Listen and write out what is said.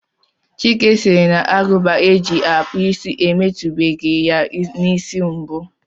Chike sịrị na Agụba e ji akpụ isi emetubeghi ya n'isi mbụ